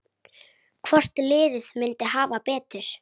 Hvort liðið myndi hafa betur?